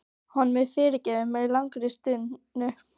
Honum er fyrirgefið með langri stunu.